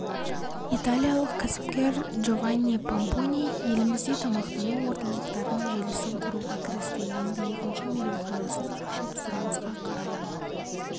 италиялық кәсіпкер джованни помпони елімізде тамақтану орталықтарының желісін құруға кірісті енді екінші мейрамханасын ашып сұранысқа қарай